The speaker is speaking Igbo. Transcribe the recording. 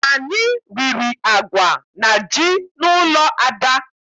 Anyị riri agwa na ji n'ụlọ Ada.